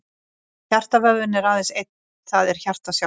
Hjartavöðvinn er aðeins einn, það er hjartað sjálft.